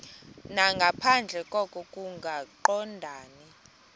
nangaphandle koko kungaqondani